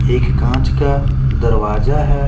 एक काँच का दरवाजा हैं ।